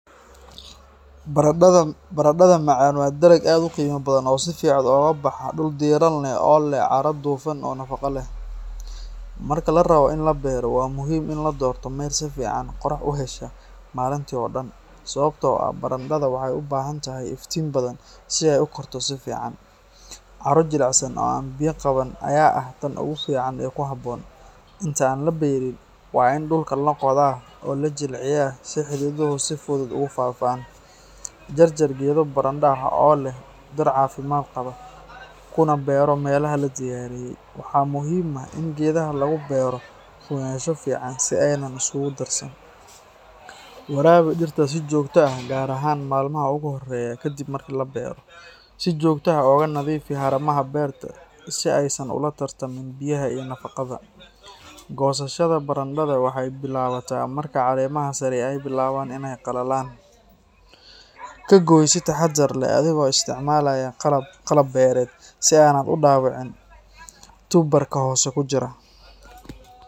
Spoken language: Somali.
Barandhada macaan waa dalag aad u qiimo badan oo si fudud ugu baxa dhul diiran leh oo leh carro dufan iyo nafaqo leh. Marka la rabo in la beero, waa muhiim in la doorto meel si fiican qorrax u hesha maalintii oo dhan, sababtoo ah barandhada waxay u baahan tahay iftiin badan si ay u korto si fiican. Carro jilicsan oo aan biyo qaban ayaa ah tan ugu fiican ee ku habboon. Inta aan la beerin, waa in dhulka la qodaa oo la jilciyaa si xididdadu si fudud ugu faafaan. Jarjar geedo barandho ah oo leh dhir caafimaad qaba, kuna beero meelaha la diyaariyey. Waxaa muhiim ah in geedaha lagu beero fogaansho fiican si aanay isugu darsan. Waraabi dhirta si joogto ah gaar ahaan maalmaha ugu horreeya kadib marka la beero. Si joogto ah uga nadiifi haramaha beerta si aysan ula tartamin biyaha iyo nafaqada. Goosashada barandhada waxay bilaabataa marka caleemaha sare ay bilaabaan inay qallalaan. Ka gooy si taxaddar leh adigoo isticmaalaya qalab beereed si aanad u dhaawicin tuber-ka hoose ku jira.